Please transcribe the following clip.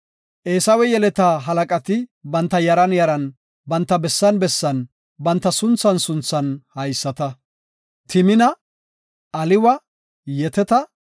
Eesawe yeleta halaqati banta yaran yaran, banta bessan bessan banta sunthan sunthan haysata; Timina, Aliwa, Yeteta,